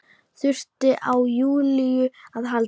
Þurfti á Júlíu að halda.